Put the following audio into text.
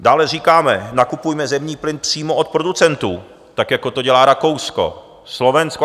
Dále říkáme, nakupujme zemní plyn přímo od producentů, tak jako to dělá Rakousko, Slovensko.